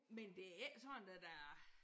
Men det ik sådan at der er